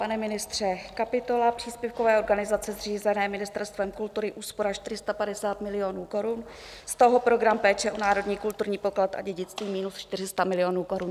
Pane ministře, kapitola příspěvkové organizace zřízené Ministerstvem kultury, úspora 450 milionů korun, z toho program péče o národní kulturní poklad a dědictví minus 400 milionů korun.